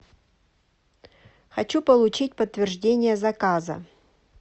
хочу получить подтверждение заказа